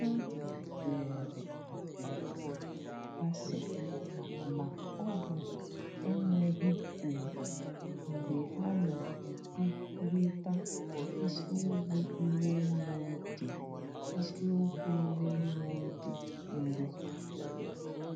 Ha zere asịrị asị ma ọ bụ enweghị ùgwù mgbe ha na-ekwurịta isiokwu ime mmụọ dị ime mmụọ dị nro.